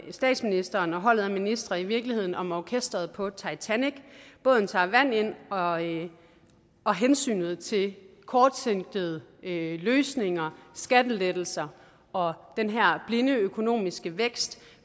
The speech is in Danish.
statsministeren og holdet af ministre i virkeligheden om orkestret på titanic båden tager vand ind og ind og hensynet til kortsigtede løsninger skattelettelser og den her blinde økonomiske vækst